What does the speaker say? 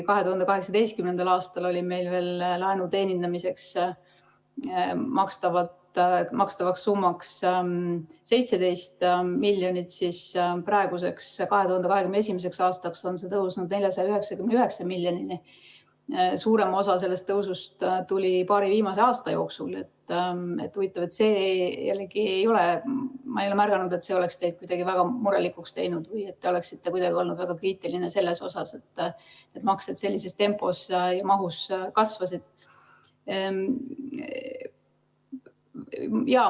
2018. aastal oli laenu teenindamiseks makstav summa veel 17 miljonit, praeguseks, 2021. aastaks on see tõusnud 499 miljonini, ja suurem osa sellest tõusust tuli paari viimase aasta jooksul, aga ma ei ole märganud, et see oleks teid kuidagi väga murelikuks teinud või te oleksite olnud väga kriitiline selle tõttu, et need maksed sellises tempos ja mahus kasvasid.